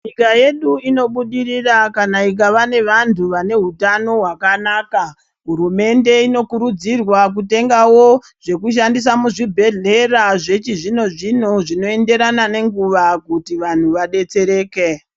Nyika yedu ino budirira kana ikava ne vantu vane hutano hwakanaka hurumende ino kurudzirwa kutengawo zveku shandisa mu zvibhehleya zvechi zvino zvino zvino enderana ne nguva kuti vanhu vadetsereke.